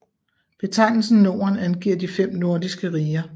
Betegnelsen Norden angiver de fem nordiske riger